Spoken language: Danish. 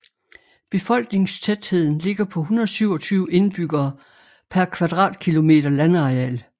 Befolkningstætheden ligger på 127 indbyggere per kvadratkilometer landareal